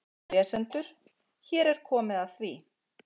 Kæru lesendur, hér er komið að því.